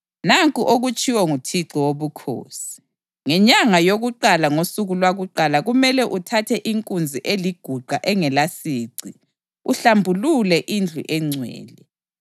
Nanku okutshiwo nguThixo Wobukhosi: Ngenyanga yakuqala ngosuku lwakuqala kumele uthathe inkunzi eliguqa engelasici uhlambulule indlu engcwele.